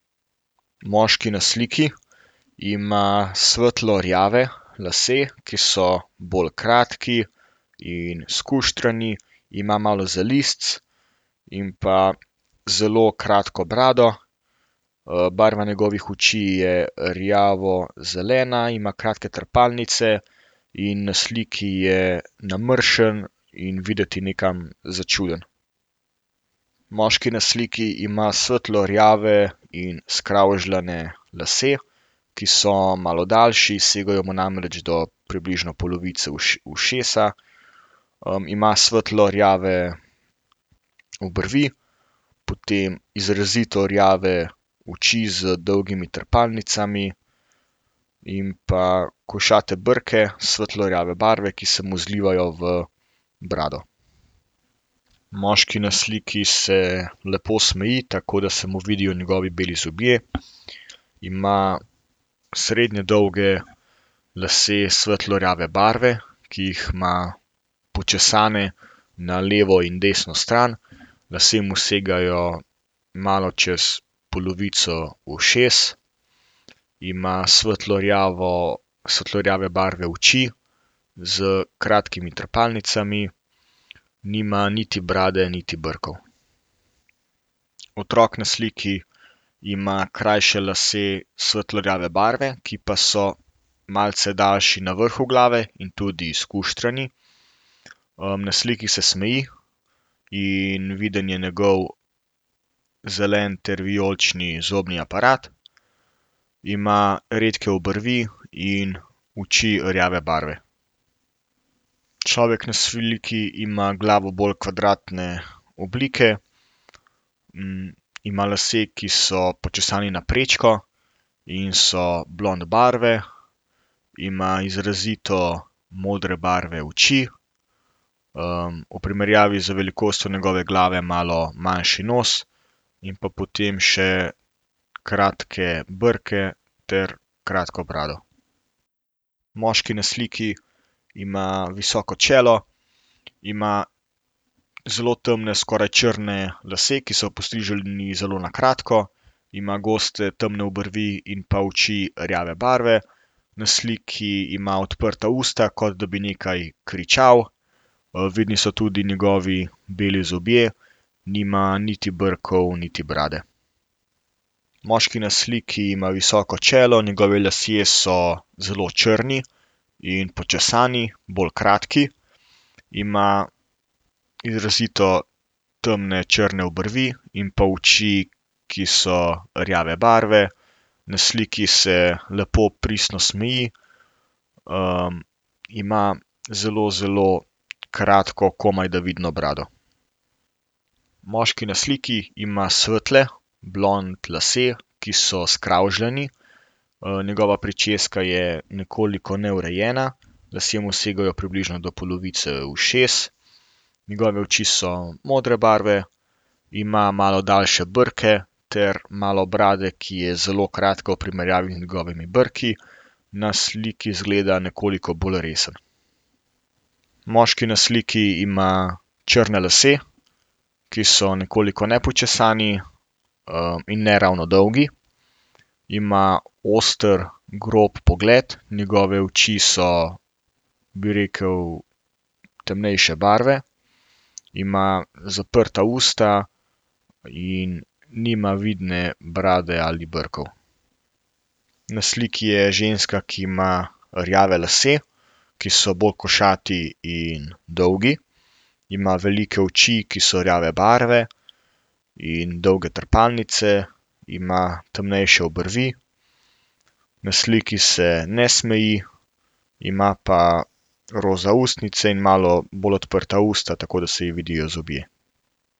Moški na sliki ima svetlo rjave lase, ki so bolj kratki in skuštrani, ima malo zalizcev in pa zelo kratko brado. barva njegovih oči je rjavozelena, ima kratke trepalnice in na sliki je namrščen in videti nekam začuden. Moški na sliki ima svetlo rjave in skravžane lase, ki so malo daljši, segajo mu namreč do približno polovice ušesa. ima svetlo rjave obrvi, potem izrazito rjave oči z dolgimi trepalnicami in pa košate brke, svetlo rjave barve, ki se mu zlivajo v brado. Moški na sliki se lepo smeji, tako da se mu vidijo njegovi beli zobje. Ima srednje dolge lase svetlo rjave barve, ki jih ima počesane na levo in desno stran. Lasje mu segajo malo čez polovico ušes. Ima svetlo rjavo, svetlo rjave barve oči. S kratkimi trepalnicami, nima niti brade niti brkov. Otrok na sliki ima krajše lase svetlo rjave barve, ki pa so malce daljši na vrhu glave in tudi skuštrani. na sliki se smeji in viden je njegov zelen ter vijolični zobni aparat. Ima redke obrvi in oči rjave barve. Človek na sliki ima glavo bolj kvadratne oblike. ima lase, ki so počesani na prečko in so blond barve, ima izrazito modre barve oči. v primerjavi z velikostjo njegove glave malo manjši nos. In pa potem še kratke brke ter kratko brado. Moški na sliki ima visoko čelo, ima zelo temne skoraj črne lase, ki so postriženi zelo na kratko, ima goste temne obrvi in pa oči rjave barve. Na sliki ima odprta usta, kot da bi nekaj kričal. vidni so tudi njegovi beli zobje. Nima niti brkov niti brade. Moški na sliki ima visoko čelo, njegovi lasje so zelo črni in počesani, bolj kratki. Ima izrazito temne, črne obrvi in pa oči, ki so rjave barve. Na sliki se lepo pristno smeji, ima zelo, zelo kratko, komajda vidno brado. Moški na sliki ima svetle blond lase, ki so skravžani, njegova pričeska je nekoliko neurejena, lasje mu segajo približno do polovice ušes, njegove oči so modre barve ima malo daljše brke ter malo brade, ki je zelo kratka v primerjavi z njegovimi brki. Na sliki izgleda nekoliko bolj resen. Moški na sliki ima črne lase, ki so nekoliko nepočesani, in ne ravno dolgi. Ima oster, grob pogled. Njegove oči so, bi rekli, temnejše barve. Ima zaprta usta in nima vidne brade ali brkov. Na sliki je ženska, ki ima rjave lase, ki so bolj košati in dolgi. Ima velike oči, ki so rjave barve in dolge trepalnice. Ima temnejše obrvi, na sliki se ne smeji, ima pa roza ustnice in malo bolj odprta usta, tako da se ji vidijo zobje.